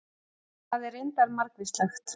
það er reyndar margvíslegt